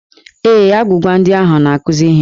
Ee, agwụgwa ndị ahụ na-akụzi ihe.